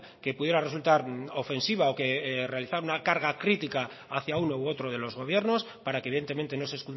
que pudiera resultar ofensiva o que realizara una carga crítica hacia uno u otro de los gobiernos para que evidentemente no se